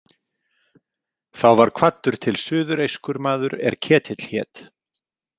Þá var kvaddur til suðureyskur maður er Ketill hét.